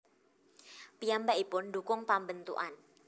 Piyambakipun ndhukung pambentukan